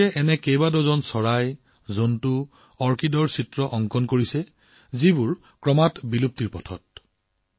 এতিয়ালৈকে তেওঁ এনে কেইবা ডজনো চৰাই জীৱজন্তু অৰ্কিডৰ ছবি নিৰ্মাণ কৰিছে যিবোৰ বিলুপ্তিৰ পথত